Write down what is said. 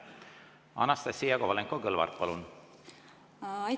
Anastassia Kovalenko-Kõlvart, palun!